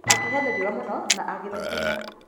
Akĩhĩa nĩ riũwa mũno na agĩ thiigina.